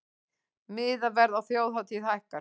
Miðaverð á þjóðhátíð hækkar